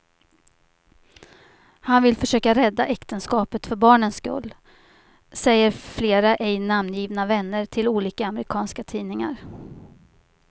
Han vill försöka rädda äktenskapet för barnens skull, säger flera ej namngivna vänner till olika amerikanska tidningar.